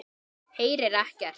Heyrir ekkert.